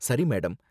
சரி, மேடம்.